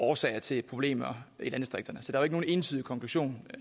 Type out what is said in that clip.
årsager til problemer i landdistrikterne så der er nogen entydig konklusion